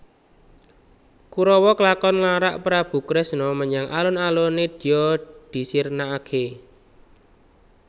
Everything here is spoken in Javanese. Kurawa klakon nglarak Prabu Kresna menyang alun alun nedya disirnakake